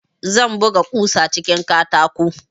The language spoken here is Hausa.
Zan buga kusan cikin katako